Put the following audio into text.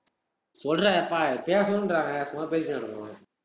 சொல்றாப்பா யப்பா, ஏ பேசணுன்றாங்க சும்மா பேசிக்கின்னு இருப்போம்